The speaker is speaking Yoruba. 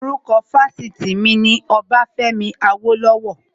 Orúkọ Fásitì mi ni Ọbafẹ́mi Awólọ́wọ̀